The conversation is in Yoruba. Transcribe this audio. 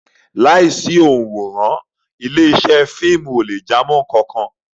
Láìsí òǹwòran, ilé-iṣẹ́ fíìmù ò lè jámọ́ nǹkan kan.